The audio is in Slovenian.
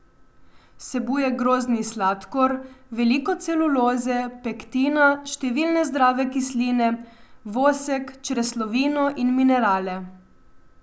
Vsebuje grozdni sladkor, veliko celuloze, pektina, številne zdrave kisline, vosek, čreslovino in minerale.